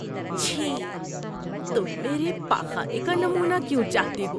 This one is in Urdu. چھی۔ تم میرے پاخانے کا نمونہ کیوں چاہتے ہو؟